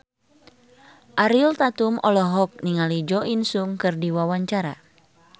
Ariel Tatum olohok ningali Jo In Sung keur diwawancara